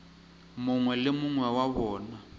mongwe le mongwe wa bona